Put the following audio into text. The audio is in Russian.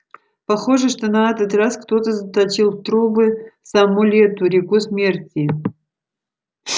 похоже что на этот раз кто-то заточил в трубы саму лету реку смерти